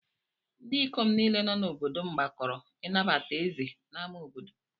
Ndị ikom niile nọ n’obodo m gbakọrọ ịnabata ézè n’ámá obodo.